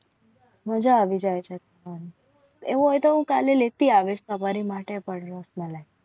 મજા આવી જાય છે. એવું કાલે લેતી આવે હમારે માટે પણ રસમલાઈ